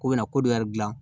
Ko bɛna ko dɔ yɛrɛ dilan